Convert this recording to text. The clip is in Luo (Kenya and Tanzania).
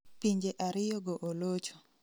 Pinje ariyo go olocho